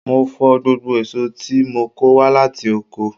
Mo fọ gbogbo èso tí mo kò wá láti oko.